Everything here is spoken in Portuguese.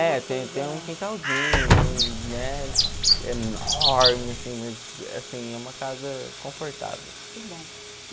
É, tem tem um quintalzinho, não é enorme, assim, mas, assim, é uma casa confortável.